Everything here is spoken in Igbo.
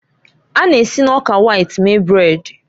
A na-esi na ọka wit mee brèd.